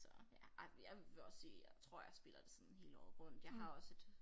Så ja ej jeg vil også sige jeg tror jeg spiller det sådan hele året rundt jeg har også et